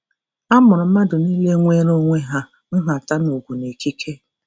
A mụrụ mmadụ niile nweere onwe ha nhata na ugwu na ikike.